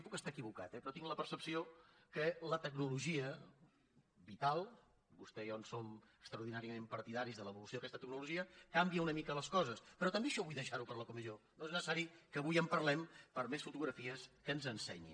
puc estar equivocat eh però tinc la percepció que la tecnologia vital vostè i jo en som extraordinàriament partidaris de l’evolució d’aquesta tecnologia canvia una mica les coses però també això vull deixar ho per a la comissió no és necessari que avui en parlem per més fotografies que ens ensenyin